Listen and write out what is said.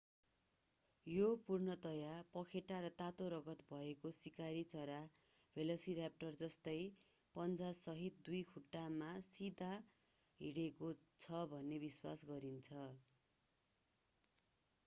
यो पूर्णतया पखेटा र तातो रगत भएको शिकारी चरा भेलोसिराप्टर जस्तै पञ्जासहित दुई खुट्टामा सिधा हिँडेको छ भन्ने विश्वास गरिन्छ